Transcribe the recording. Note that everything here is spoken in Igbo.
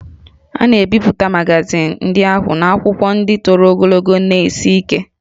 A na-ebipụta magazin ndị ahụ n'akwụkwọ ndị toro ogologo na sie ike